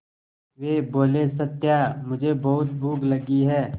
वे बोले सत्या मुझे बहुत भूख लगी है